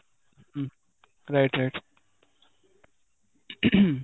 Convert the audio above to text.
ହୁଁ right right